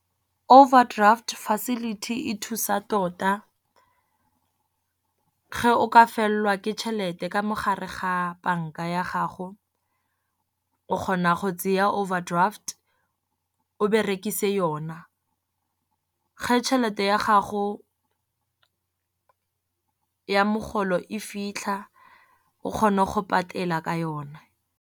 Overdraft facility e thusa tota ge o ka felelwa ke tšhelete ka mogare ga bank-a ya gago. O kgona go tseya overdraft o berekise yona, ge tšhelete ya gago ya mogolo e fitlha o kgona go patela ka yone.